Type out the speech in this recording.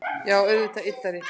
Já og auðvitað yddari